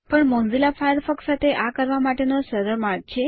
પણ Mozilla Firefox સાથે આ કરવા માટેનો સરળ માર્ગ છે